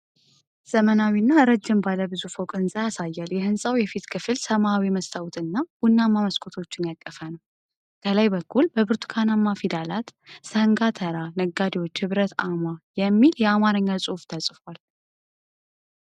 ዘመናዊ እና ረጅም ባለ ብዙ ፎቅ ሕንፃ ያሳያል። የሕንፃው የፊት ክፍል ሰማያዊ መስታዎት እና ቡናማ መስኮቶችን ያቀፈ ነው። ከላይ በኩል በብርቱካናማ ፊደላት "ሰንጋ ተራ ነጋዴዎች ህብረት አማ" የሚል የአማርኛ ጽሑፍ ተጽፏል።